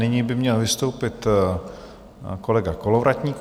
Nyní by měl vystoupit kolega Kolovratník.